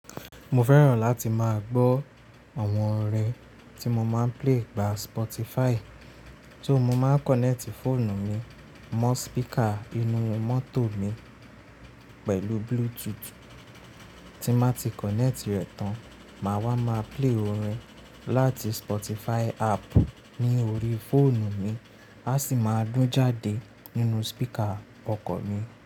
Mo fẹ́ràn láti máa gbọ́ àwọn orin tí mo máa ń play gba Spotify tó máa ń kọ̀nẹ́ẹ̀tì fóònù mi mọ́ speaker inú mọ́tò mi pẹ̀lú Bluetooth. Tí má ti kọ̀nẹ́ẹ̀tì rẹ̀ tán, màá wá máa play orin láti Spotify app ní orí fóònù mi, a sì máa dún jáde nínú speaker ọkọ̀ mi.